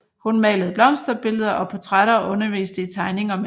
Hun malede blomsterbilleder og portrætter og underviste i tegning og maling